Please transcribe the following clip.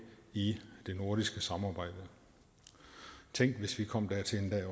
i det nordiske samarbejde tænk hvis vi kom dertil